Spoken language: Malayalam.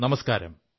നമസ്കാരം